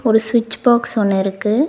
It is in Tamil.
ஒரு சுவிட்ச் பாக்ஸ் ஒன்னு இருக்கு.